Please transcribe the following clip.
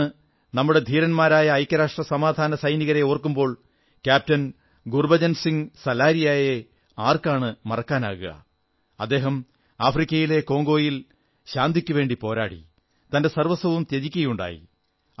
ഇന്നു നമ്മുടെ ധീരന്മാരായ ഐക്യരാഷ്ട്ര സമാധാനസൈനികരെ ഓർക്കുമ്പോൾ ക്യാപ്റ്റൻ ഗുർബചൻ സിംഗ് സലാരിയായെ ആർക്കാണു മറക്കാനാകുക അദ്ദേഹം ആഫ്രിക്കയിലെ കോംഗോയിൽ ശാന്തിക്കുവേണ്ടി പോരാടി തന്റെ സർവ്വസ്വവും ത്യജിക്കയുണ്ടായി